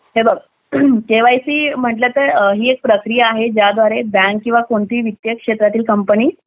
हे बघ केवायसी म्हटलं तर ही एक प्रक्रिया आहे ज्याच्याद्वारे बँक किंवा कोणतीही विद्या क्षेत्रातील कंपनी